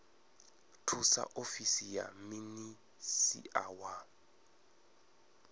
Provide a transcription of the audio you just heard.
thusa ofisi ya minisia wa